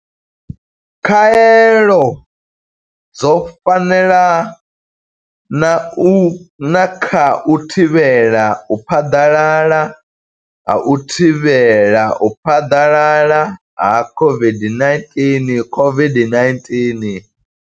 Khaelo dzo fanela na kha u thivhela u phaḓalala ha u thivhela u phaḓalala ha COVID-19, COVID-19.